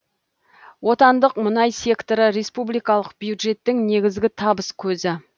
отандық мұнай секторы республикалық бюжеттің негізгі табыс көзі